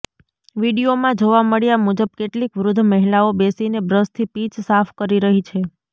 વીડિયોમાં જોવા મળ્યા મુજબ કેટલીક વૃદ્ધ મહિલાઓ બેસીને બ્રશથી પીચ સાફ કરી રહી છે